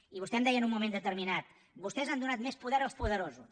i vostè em deia en un moment determinat vostès han donat més poder als poderosos